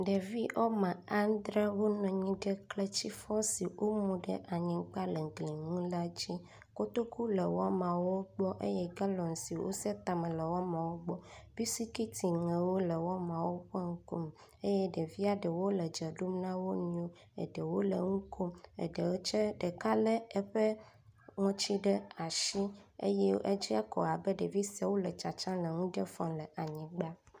Ɖevi wɔme andre wo nɔ anyi ɖe kletifɔ si womu ɖe anyiga le gli nu la dzi. Kotoku le woamawo gbɔ eye galɔn si wose tame le woamawo gbe. Bisikitiŋewo le woamawo ƒe ŋkume eye ɖevia ɖewo le dze ɖom na wo nɔewo eɖewo le nu kom eɖe tse ɖeka le eƒe ŋɔtsi ɖe asi eye edze ko abe ɖevi siawo le tsatsam le nuɖe fɔm le anyigba